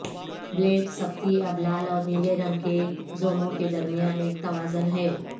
blade سختی اب لال اور نیلے رنگ کے زوموں کے درمیان ایک توازن ہے